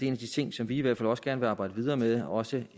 en af de ting som vi i hvert fald også gerne vil arbejde videre med også